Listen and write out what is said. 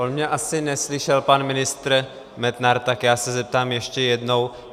On mě asi neslyšel pan ministr Metnar, tak já se zeptám ještě jednou.